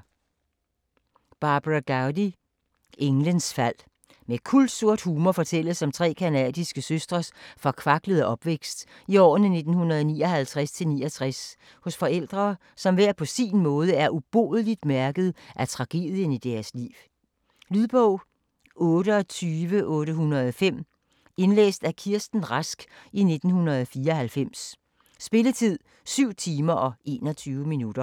Gowdy, Barbara: Engles fald Med kulsort humor fortælles om tre canadiske søstres forkvaklede opvækst i årene 1959-1969 hos forældre, som hver på sin måde er ubodeligt mærket af tragedien i deres liv. Lydbog 28805 Indlæst af Kirsten Rask, 1994. Spilletid: 7 timer, 21 minutter.